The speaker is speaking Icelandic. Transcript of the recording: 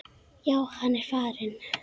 Já, hann er farinn